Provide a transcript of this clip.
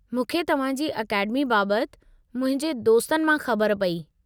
मूंखे तव्हां जी अकेडमी बाबति मुंहिंजे दोस्तन मां ख़बर पई।